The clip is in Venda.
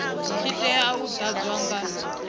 tshi tea u ḓadzwa nga